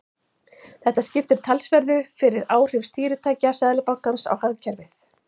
Þetta skiptir talsverðu fyrir áhrif stýritækja Seðlabankans á hagkerfið.